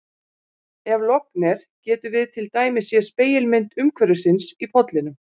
ef logn er getum við til dæmis séð spegilmynd umhverfisins í pollinum